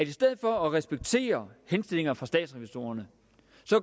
i stedet for at respektere henstillinger fra statsrevisorerne